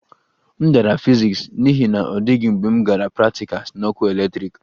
M dara fiziks n'ihi na ọ dịghị mgbe m gara praktikals na ọkụ eletrik